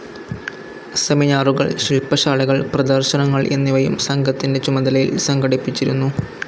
സെമിനാറുകൾ, ശില്പശാലകൾ, പ്രദർശനങ്ങൾ എന്നിവയും സംഘത്തിന്റെ ചുമതലയിൽ സംഘടിപ്പിച്ചിരുന്നു.